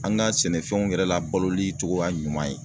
An ka sɛnɛfɛnw yɛrɛ labaloli cogoya ɲuman ye